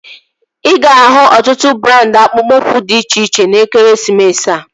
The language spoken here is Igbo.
Ị ga-ahụ ọtụtụ brandị akpụkpọ ụkwụ dị iche iche n'ekeresimesi a